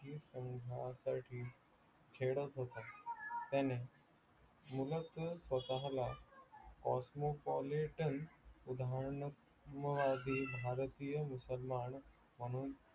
संघासाठी खेळत होता त्याने उगच स्वतःला cosmopolitan भारतीय मुसलमान म्हणून